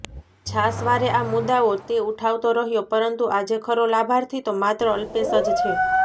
છાશવારે આ મુદ્દાઓ તે ઉઠાવતો રહ્યો પરંતુ આજે ખરો લાભાર્થી તો માત્ર અલ્પેશ જ છે